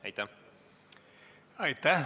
Aitäh!